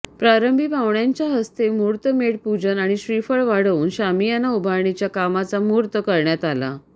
प्रारंभी पाहुण्यांच्या हस्ते मुहूर्तमेढ पूजन आणि श्रीफळ वाढवून शामियाना उभारणीच्या कामाचा मुहूर्त करण्यात आला